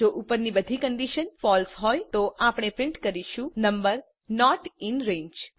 જો ઉપરની બધી કન્ડીશન ફળસે હોય તો આપણે પ્રિન્ટ કરીશું નંબર નોટ ઇન રંગે